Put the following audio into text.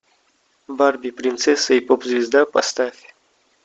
барби принцесса и поп звезда поставь